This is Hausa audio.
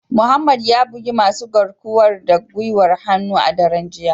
Mohammed ya bugi masu garkuwar da gwiwar hannu a daren jiya